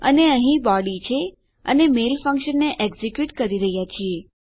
અને અહીં આપણી બોડી છે અને આપણા મેલ ફંક્શનને એક્ઝેક્યુટ કરી રહ્યાં છીએ